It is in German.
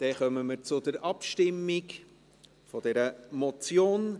Somit kommen wir zur Abstimmung über diese Motion.